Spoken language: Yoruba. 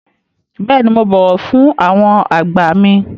Bẹ́ẹ̀ni, mo bọ̀wọ̀ fún àwọn àgbà mi.